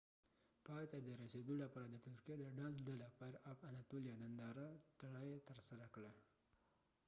پای ته رسیدو لپاره د ترکیه د ډانس ډله فائیر آف اناتولیا نندره ټرائ ترسره کړه